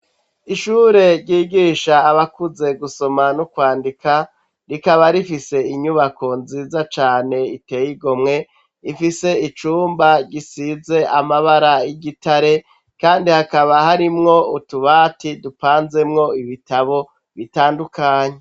Ishure ryigisha abakuze gusoma no kwandika rikaba rifise inyubako nziza cane iteye igomwe ifise icumba gisize amabara y'igitare kandi hakaba harimwo utubati dupanzemwo ibitabo bitandukanye.